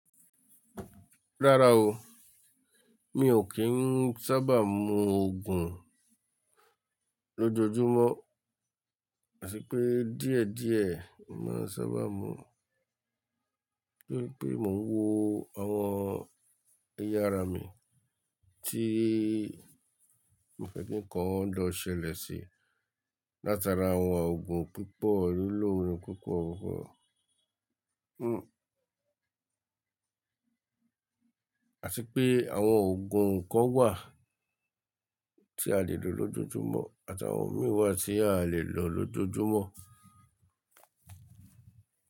Rárá o, mi ò kí ń sábà mu Ògùn lójoojúmọ́, àfìpé díẹ̀ díẹ̀ mo ma n sábà mu. Bí pé mò ń wo àwọn ẹ̀yà ara mi, tí ìfẹ́ ki nkan lọ̀ ṣẹlẹ̀ sí látara àwọn ògùn pípọ̀ nílò pípọ̀. Àtìpé àwọn ògùn kan wà tí a lè lò lójoojúmọ́ àti àwọn mìí wa tí a lè lò lójoojúmọ́